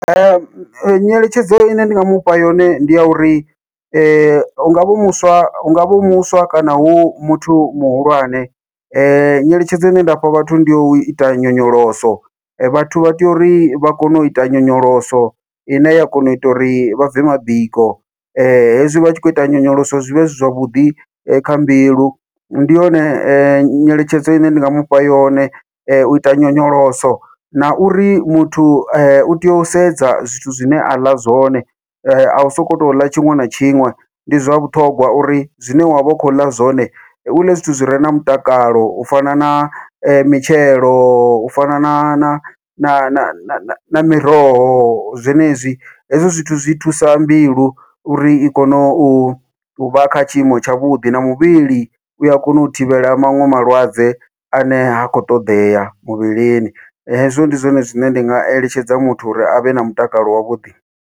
Nyeletshedzo ine nda nga mufha yone ndi ya uri, hungavha hu muswa hungavha hu muswa kana hu muthu muhulwane nyeletshedzo ine nda fha vhathu ndi ya uita nyonyoloso, vhathu vha tea uri vha kone u ita nyonyoloso ine ya kona uita uri vha bve mabiko hezwi vha tshi khou ita nyonyoloso zwi vha zwi zwavhuḓi kha mbilu, ndi yone nyeletshedzo ine nda nga mufha yone uita nyonyoloso. Na uri muthu utea u sedza zwithu zwine a ḽa zwone a u sokou tou ḽa tshiṅwe na tshiṅwe ndi zwa vhuṱhongwa uri zwine wa vha u khou ḽa zwone u ḽe zwithu zwi re na mutakalo, u fana na mitshelo u fana na na na na miroho zwenezwi, hezwo zwithu zwi thusa mbilu uri i kone uvha kha tshiimo tshavhuḓi na muvhili ua kona u thivhela maṅwe malwadze ane ha khou ṱoḓea muvhilini, hezwo ndi zwone zwine ndi nga eletshedza muthu uri avhe na mutakalo wavhuḓi.